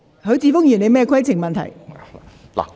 許智峯議員，你有甚麼規程問題？